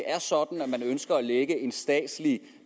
er ønsker at lægge en statslig